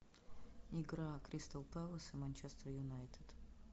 игра кристал пэлас и манчестер юнайтед